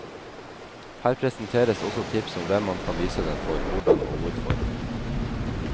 Her presenteres også tips om hvem man kan vise den for, hvordan og hvorfor.